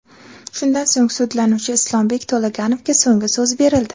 Shundan so‘ng, sudlanuvchi Islombek To‘laganovga so‘nggi so‘z berildi.